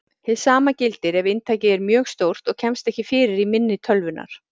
Hið sama gildir ef inntakið er mjög stórt og kemst ekki fyrir í minni tölvunnar.